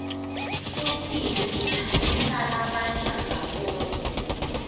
futsi ibutsanisa labasha ndzawonye